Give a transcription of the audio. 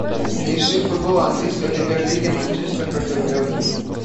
ищи футбол английской премьер лиги манчестер против бернли